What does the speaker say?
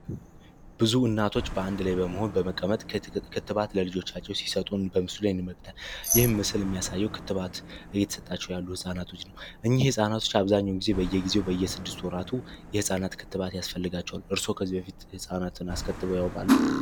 ብዙ እናቶች በአንድ ላይ በመሆን በመቀመጥ ክትባት ለልጆቻቸው ሲሰጡን በምስሉ የንመግተ ይህም ምስል የሚያሳየው ክትባት እይትሰጣቸው ያሉ ሕፃናቶች ነው እኝህ ሕፃናቶች አብዛኙ ጊዜ በየጊዜው በየስድስቱ ወራቱ የሕፃናት ክትባት ያስፈልጋቸዋል እርሶ ከዚህ በፊት ሕፃናትን አስከትበው ያወቃሉ?